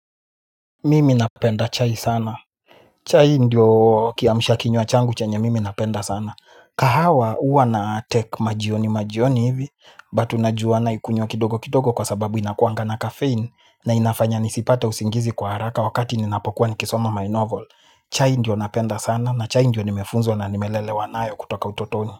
Mimi napenda chai sana. Chai ndiyo kiamshakinywa changu chenye mimi napenda sana. Kahawa huwa natake majioni majioni hivi but unajua ninaikunywa kidogo kidogo kwa sababu inakuwanga na caffeine na inafanya nisipate usingizi kwa haraka wakati nasoma my novel chai ndio ninapenda sana chai ndio nimefunzwa na nimelelewa nayo kutoka utotoni.